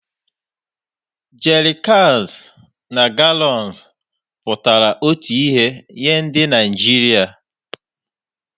Jerikans na galọns pụtara otu ihe nye ndị Naijiria